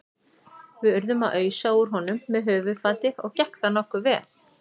Við urðum að ausa úr honum með höfuðfati og gekk það nokkuð vel.